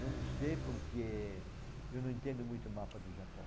Não sei porque eu não entendo muito o mapa do Japão.